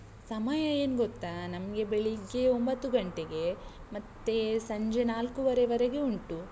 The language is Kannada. ಸಮಯ ಏನ್ ಗೊತ್ತಾ? ನಮ್ಗೆ ಬೆಳಿಗ್ಗೆ ಒಂಬತ್ತು ಗಂಟೆಗೆ, ಮತ್ತೆ ಸಂಜೆ ನಾಲ್ಕುವರೆವರೆಗೆ ಉಂಟು.